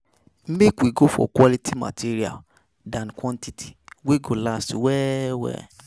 Make we go for quality materials than quantity wey go last well well